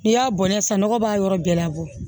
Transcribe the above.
N'i y'a bɔn nɛ sisan nɔgɔ b'a yɔrɔ bɛɛ la bɔ